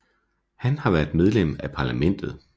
Han har været medlem af parlamentet